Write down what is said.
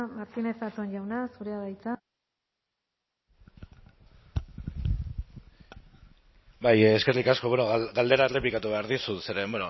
martínez zatón jauna zurea da hitza bai eskerrik asko bueno galdera errepikatu behar dizut zeren